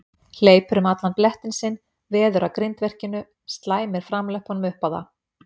Hleypur um allan blettinn sinn, veður að grindverkinu, slæmir framlöppunum upp á það.